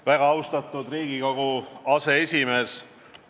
Väga austatud Riigikogu aseesimees!